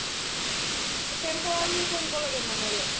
temporary ও কৰিব লাগে মানুহ অলপ